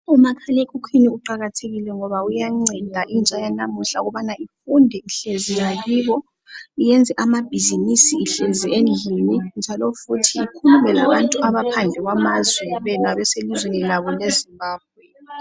Umakhalekhukhwini uqakathekile ngoba uyanceda intsha yanamuhla ukuba ifunde ihlezi ngakibo yenze amabhizimusi ihlezi endlini njalo futhi ikhulume labantu abaphandle kwamazwe bona beselizweni labo leZimbabwe.